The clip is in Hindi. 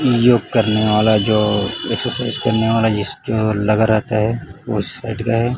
योग करने वाला जो एक्सरसाइज करने वाला जिस जो लगा रहता है वो सेट गए--